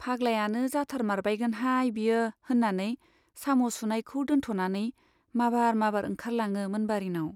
फाग्लायानो जाथारमारबायगोनहाय बियो, होन्नानै साम' सुनायखौ दोनथ'नानै माबार माबार ओंखारलाङो मोनबारीनाव।